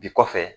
Bi kɔfɛ